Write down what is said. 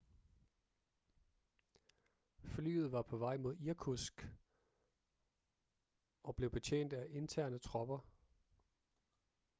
flyet var på vej mod irkutsk og blev betjent af interne tropper